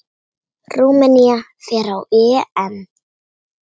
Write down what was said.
Rúmenía fer á EM.